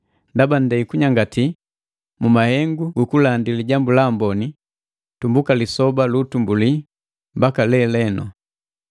ndaba nndei kunyangati mu mahengu gukulandi Lijambu la Amboni, tumbuka lisoba lu utumbulii mbaka lelenu.